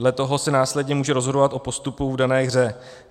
Dle toho se následně může rozhodovat o postupu v dané hře.